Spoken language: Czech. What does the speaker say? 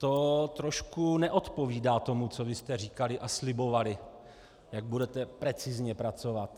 To trošku neodpovídá tomu, co vy jste říkali a slibovali, jak budete precizně pracovat.